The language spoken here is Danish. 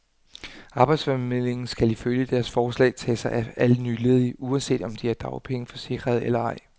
Arbejdsformidlingen skal ifølge deres forslag tage sig af alle nyledige, uanset om de er dagpengeforsikrede eller ej.